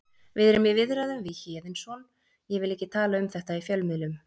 Við erum í viðræðum við Héðinsson ég vil ekki tala um þetta í fjölmiðlum.